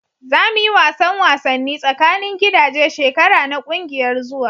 Za mu yi wasan wasanni tsakanin gidaje shekara na kungiyar zuwa.